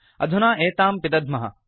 अधुना एतां पिदध्मः